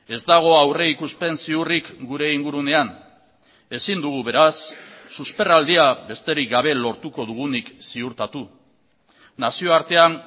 ez dago aurrikuspen ziurrik gure ingurunean ezin dugu beraz susperraldia besterik gabe lortuko dugunik ziurtatu nazioartean